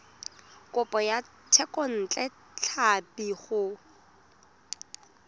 kopo ya thekontle tlhapi go